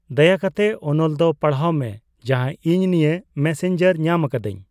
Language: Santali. ᱫᱟᱭᱟ ᱠᱟᱛᱮ ᱚᱱᱚᱞ ᱫᱚ ᱯᱟᱲᱦᱟᱣ ᱢᱮ ᱡᱟᱦᱟ ᱤᱧ ᱱᱤᱭᱟᱹ ᱢᱮᱥᱮᱧᱡᱟᱨ ᱧᱟᱢ ᱟᱠᱟᱫᱟᱧ